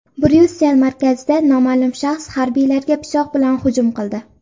Bryussel markazida noma’lum shaxs harbiylarga pichoq bilan hujum qildi.